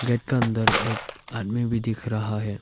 एक अंदर एक आदमी भी दिख रहा है।